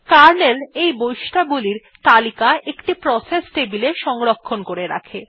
kernel এই বৈশিষ্ট্যাবলীর তালিকা একটি প্রসেস টেবিলে সংরক্ষণ করে রাখে